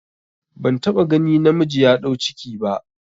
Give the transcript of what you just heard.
Ban taɓa gani namiji ya ɗau ciki ba